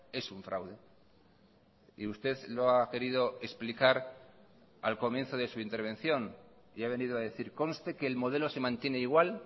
es un fraude y usted lo ha querido explicar al comienzo de su intervención y ha venido a decir conste que el modelo se mantiene igual